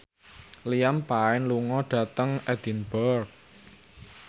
Liam Payne lunga dhateng Edinburgh